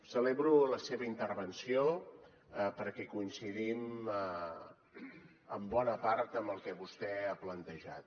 celebro la seva intervenció perquè coincidim en bona part amb el que vostè ha plantejat